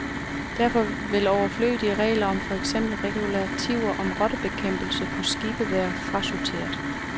Derfor vil overflødige regler om for eksempel regulativer om rottebekæmpelse på skibe være frasorteret.